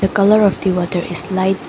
The colour of the water is lite --